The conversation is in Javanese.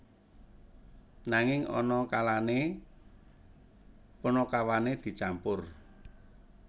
Nanging ana kalane panakawane dicampur